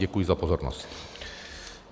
Děkuji za pozornost.